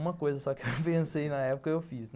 Uma coisa só que eu pensei na época, eu fiz.